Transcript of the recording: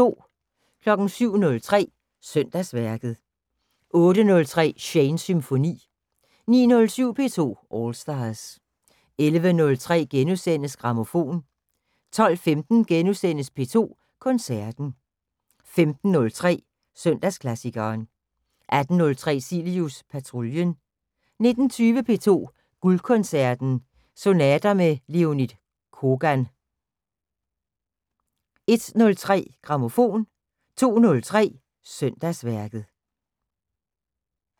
07:03: Søndagsværket 08:03: Shanes Symfoni 09:07: P2 All Stars 11:03: Grammofon * 12:15: P2 Koncerten * 15:03: Søndagsklassikeren 18:03: Cilius Patruljen 19:20: P2 Guldkoncerten – Sonater med Leonid Kogan 01:03: Grammofon 02:03: Søndagsværket